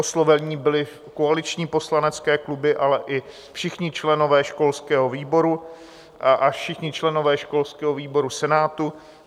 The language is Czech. Osloveny byly koaliční poslanecké kluby, ale i všichni členové školského výboru a všichni členové školského výboru Senátu.